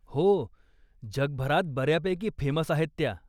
हो, जगभरात बऱ्यापैकी फेमस आहेत त्या.